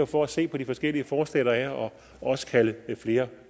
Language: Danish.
for at se på de forskellige forslag der er og også kalde flere